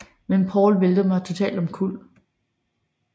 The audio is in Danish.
Men Paul væltede mig totalt omkuld